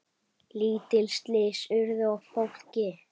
Lítil slys urðu á fólki.